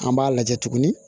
An b'a lajɛ tuguni